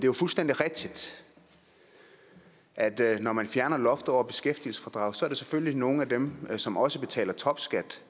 jo fuldstændig rigtigt at når man fjerner loftet over beskæftigelsesfradraget er der selvfølgelig nogle af dem som også betaler topskat